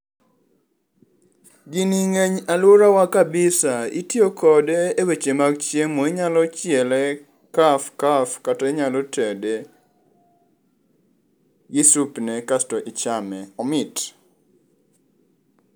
Gini ng'eny alworawa kabisa, itiyo kode e weche mag chiemo. Inyalo chiele kaf kaf kata inyalo tede gi supne kasto ichame, omit.